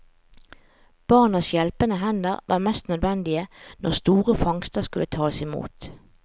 Barnas hjelpende hender var mest nødvendige når store fangster skulle tas imot.